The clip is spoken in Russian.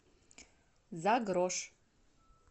за грош